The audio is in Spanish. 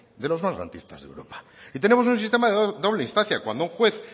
de los más garantistas de europa y tenemos un sistema de doble instancia cuando un juez